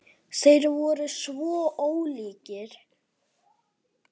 Þeir voru svo ólíkir.